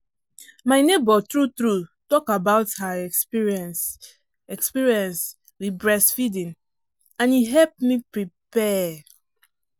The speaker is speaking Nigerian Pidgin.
my neighbor true true talk about her experience experience with breast feeding and e help me prepare.